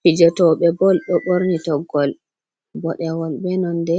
Fijotoɓe bol ɗo ɓorni toggol boɗewol be nonde